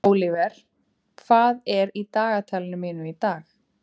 Ólíver, hvað er í dagatalinu mínu í dag?